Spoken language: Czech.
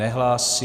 Nehlásí.